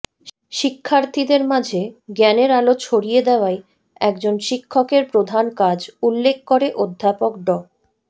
শিক্ষার্থীদের মাঝে জ্ঞানের আলো ছড়িয়ে দেওয়াই একজন শিক্ষকের প্রধান কাজ উল্লেখ করে অধ্যাপক ড